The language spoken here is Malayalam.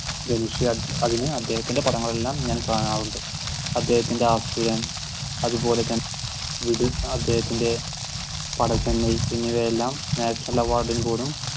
ധനുഷ് അതിനു അദ്ദേഹത്തിന്റെ പടങ്ങൾ എല്ലാം ഞാൻ കാണാറുണ്ട് അദ്ദേഹത്തിന്റെ അസുരൻ അതുപോലെതന്നെ വീട്ടിൽ അദ്ദേഹത്തിന്റെ എന്നിവയെല്ലാം national award ഇൽ പോലും